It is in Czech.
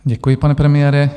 Děkuji, pane premiére.